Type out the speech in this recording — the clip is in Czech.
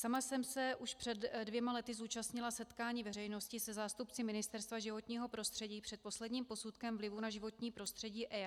Sama jsem se už před dvěma lety zúčastnila setkání veřejnosti se zástupci Ministerstva životního prostředí před posledním posudkem vlivu na životní prostředí EIA.